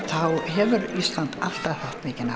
hefur Ísland alltaf haft mikinn